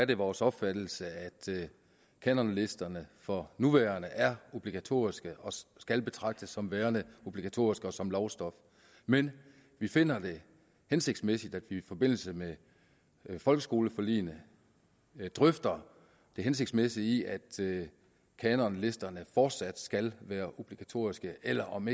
det vores opfattelse at kanonlisterne for nuværende er obligatoriske og skal betragtes som værende obligatoriske og som lovstof men vi finder det hensigtsmæssigt at vi i forbindelse med folkeskoleforliget drøfter det hensigtsmæssige i at kanonlisterne fortsat skal være obligatoriske eller om